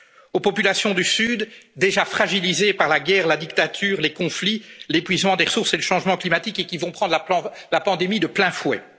l'Union aux populations du Sud, déjà fragilisées par la guerre, la dictature, les conflits, l'épuisement des ressources et le changement climatique et qui vont prendre la pandémie de plein